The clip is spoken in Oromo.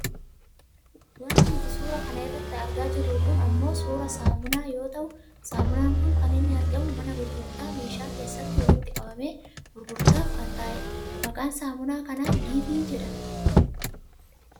Wanti nuti suuraa kanarratti argaa jirru kun ammoo suuraa saamunaa yoo ta'u saamunaan kun kan inni argamu mana gurgurtaa meeshaa keessatti walitti qabamee gurgurtaaf kan taa'edha. Maqaaan saamunaa kanaa dive jedhama.